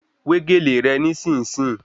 Wé gèlè rẹ ní-sìn-ń-sìn